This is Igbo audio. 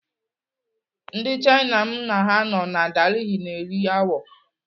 Ndị Chaina m na ha nọ na Delhi na-eri awọ.